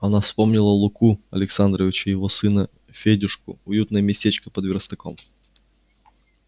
она вспомнила луку александрыча его сына федюшку уютное местечко под верстаком